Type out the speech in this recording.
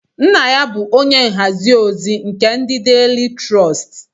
Nna ya bu onye nhazi ozi nke ndi Daily Trust